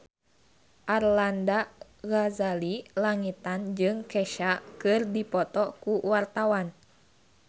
Arlanda Ghazali Langitan jeung Kesha keur dipoto ku wartawan